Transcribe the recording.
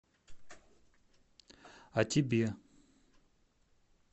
а тебе